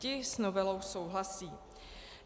Ti s novelou souhlasí."